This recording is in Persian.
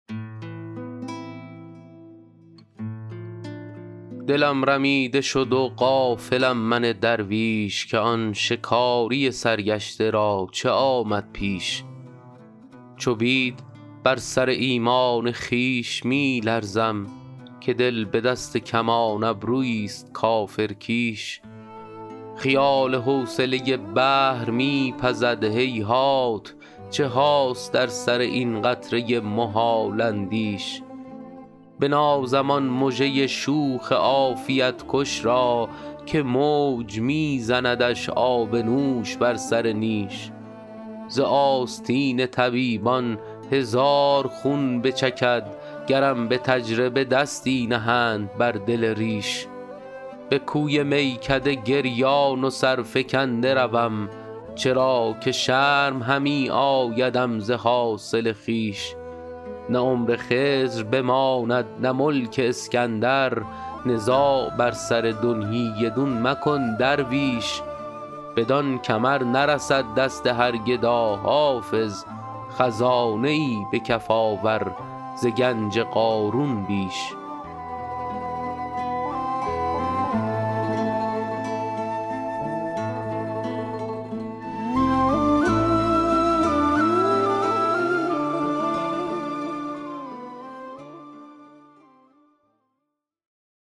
دلم رمیده شد و غافلم من درویش که آن شکاری سرگشته را چه آمد پیش چو بید بر سر ایمان خویش می لرزم که دل به دست کمان ابرویی ست کافرکیش خیال حوصله بحر می پزد هیهات چه هاست در سر این قطره محال اندیش بنازم آن مژه شوخ عافیت کش را که موج می زندش آب نوش بر سر نیش ز آستین طبیبان هزار خون بچکد گرم به تجربه دستی نهند بر دل ریش به کوی میکده گریان و سرفکنده روم چرا که شرم همی آیدم ز حاصل خویش نه عمر خضر بماند نه ملک اسکندر نزاع بر سر دنیی دون مکن درویش بدان کمر نرسد دست هر گدا حافظ خزانه ای به کف آور ز گنج قارون بیش